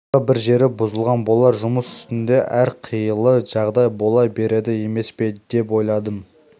тағы бір жері бұзылған болар жұмыс үстінде әрқилы жағдай бола береді емес пе деп ойладым